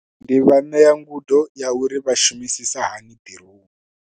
Ndi nga ṋea ngudo ya uri vha shumisisa hani drone.